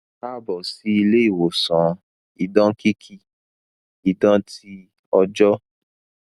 kaabọ si ile iwosan idan kiki idan ti ọjọ